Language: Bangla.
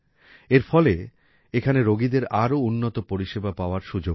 এর ফলে এখানে রোগীদের আরো উন্নত পরিষেবা পাওয়ার সুযোগ হবে